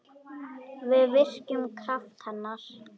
Við virkjum kraft hennar.